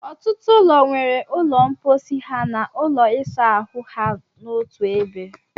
Ọtụtụ ụlọ nwere ụlọ mposi ha na ụlọ ịsa ahụ ha n'otu ebe.